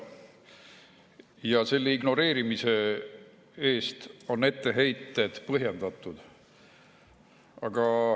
Ja selle ignoreerimise eest on etteheited põhjendatud.